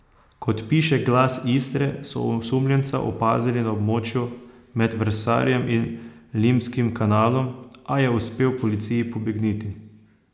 Kot piše Glas Istre, so osumljenca opazili na območju med Vrsarjem in Limskim kanalom, a je uspel policiji pobegniti.